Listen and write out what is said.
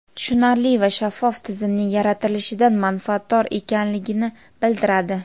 tushunarli va shaffof tizimning yaratilishidan manfaatdor ekanligini bildiradi.